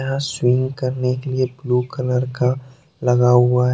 यह स्विम करने के लिए एक ब्लू कलर का लगा हुआ है।